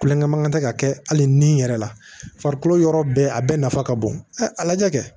Kulonkɛ mankan tɛ ka kɛ hali ni yɛrɛ la farikolo yɔrɔ bɛɛ a bɛɛ nafa ka bon a lajɛ